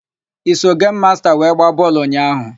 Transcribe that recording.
I so gemu masta wee gbaa bọọlụ ụnyaahụ?